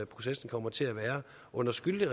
processen kommer til at være under skyldig